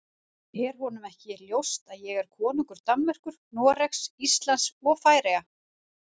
Er honum ekki ljóst að ég er konungur Danmerkur, Noregs, Íslands og Færeyja?